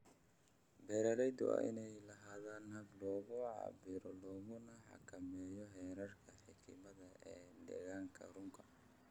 Beeralaydu waa inay lahaadaan habab lagu cabbiro laguna xakameeyo heerarka kiimikada ee deegaanka rugta.